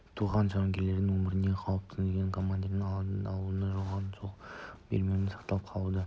туған жауынгерлердің өміріне қауіп төндіріп тұрған қорқыныштың алдын алудың оған жол бермеудің сақтап қалудың